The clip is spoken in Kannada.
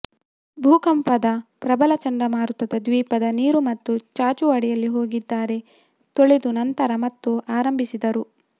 ಭೂಕಂಪದ ಪ್ರಬಲ ಚಂಡಮಾರುತದ ದ್ವೀಪದ ನೀರು ಮತ್ತು ಚಾಚು ಅಡಿಯಲ್ಲಿ ಹೋಗಿದ್ದಾರೆ ತೊಳೆದು ನಂತರ ಮತ್ತು ಆರಂಭಿಸಿದರು